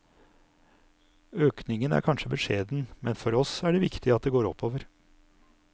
Økningen er kanskje beskjeden, men for oss er det viktig at det går oppover.